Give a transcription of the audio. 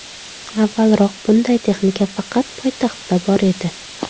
Avvalroq bunday texnika faqat poytaxtda bor edi.